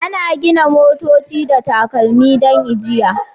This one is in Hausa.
Ana gina motoci da takalmi don ajiya